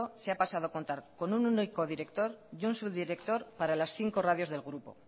se ha pasado a contar con un único director y un subdirector para las cinco radios del grupo